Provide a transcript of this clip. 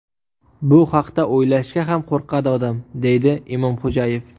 Bu haqda o‘ylashga ham qo‘rqadi odam”, deydi Imomxo‘jayev .